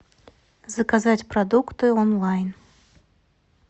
заказать продукты онлайн